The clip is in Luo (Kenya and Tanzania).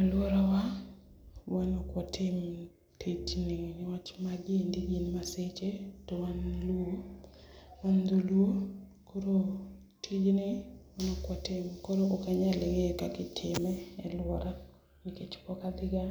Aluora wa wan ok watim tijni niwach magi eki gin maseche towan luo, wan dholuo, koro tijni wan ok watim koro ok anyal ngeyo kaka itime e luora nikech pok adhiga